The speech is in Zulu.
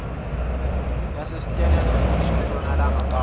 yasestellenbosch entshonalanga kapa